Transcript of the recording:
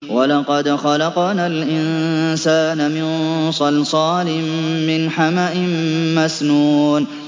وَلَقَدْ خَلَقْنَا الْإِنسَانَ مِن صَلْصَالٍ مِّنْ حَمَإٍ مَّسْنُونٍ